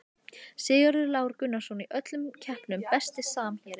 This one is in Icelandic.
Sigurður Lár Gunnarsson í öllum keppnum Besti samherjinn?